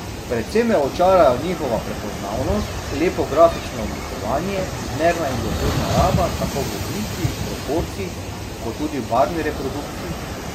Predvsem me očarajo njihova prepoznavnost, lepo grafično oblikovanje, zmerna in dosledna raba tako v obliki, proporcih kot v barvni reprodukciji.